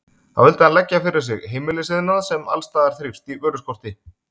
Þá vildi hann leggja fyrir sig heimilisiðnað, sem alls staðar þrífst í vöruskorti.